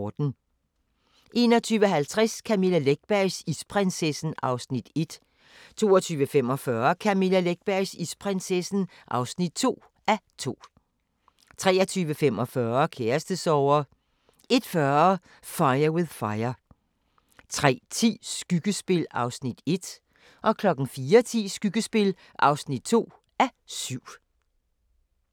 21:50: Camilla Läckbergs Isprinsessen (1:2) 22:45: Camilla Läckbergs Isprinsessen (2:2) 23:45: Kærestesorger 01:40: Fire with Fire 03:10: Skyggespil (1:7) 04:10: Skyggespil (2:7)